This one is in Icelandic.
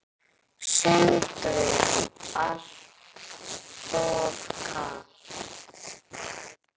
Sindri: Alltof kalt?